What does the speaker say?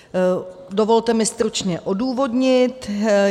Dovolte mi stručně odůvodnit.